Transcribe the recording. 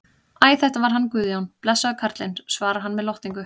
Æ, þetta var hann Guðjón, blessaður karlinn, svarar hann með lotningu.